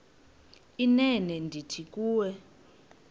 inene ndithi kuwe